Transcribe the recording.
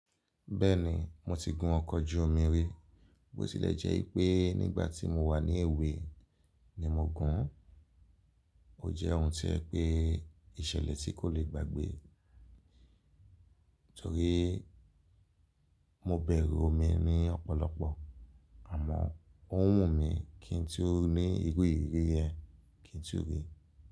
Bẹ́ẹ̀ni, mo ti gun ọkọ̀ ojú omi rí. Bó tilẹ̀ jẹ́ wipé nígbà tí mo wà ní èwe ni mo gùn. Ó jẹ́ ohun tí o jẹ pé ìṣẹ̀lẹ̀ tí kò le gbàgbé torí mo bẹ̀rù omi ní ọ̀pọ̀lọpọ̀. Àmọ́, ó n wù mí kí n tu ní irú ìrírí yẹn, kí n tí ò rí.